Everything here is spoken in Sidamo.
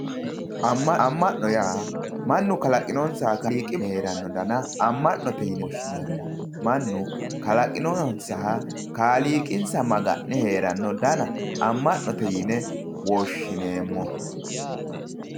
Ama'no yaa mannu kalaqinonsaha kaaliiqi danna ama'note yinne woshshineemmo mannu kalaqinonsaha kaaliiqi maga'ne heerano danna ama'note yinne woshshineemmo.